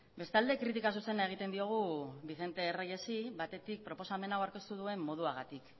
bestalde kritika zuzena egiten diogu vicente reyesi batetik proposamen hau aurkeztu duen moduagatik